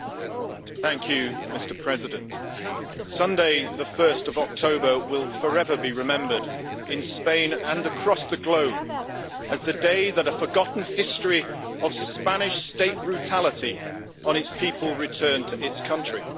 Mr President, Sunday, 1 October, will forever be remembered in Spain and across the globe as the day that a forgotten history of Spanish state brutality on its people returned to its country.